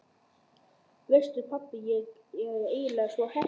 Veistu pabbi, ég er eiginlega svo heppin.